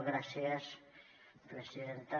gràcies presidenta